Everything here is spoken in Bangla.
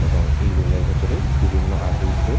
এবং এই রুম এর ভিতরে বিভিন্ন আট্রিস দের--